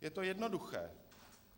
Je to jednoduché.